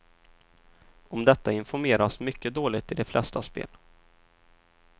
Om detta informeras mycket dåligt i de flesta spel.